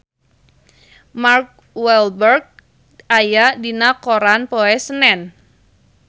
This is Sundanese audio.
Mark Walberg aya dina koran poe Senen